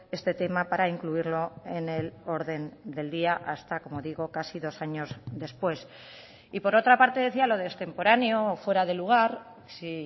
este tema para incluirlo en el orden del día hasta como digo casi dos años después y por otra parte decía lo de extemporáneo o fuera de lugar si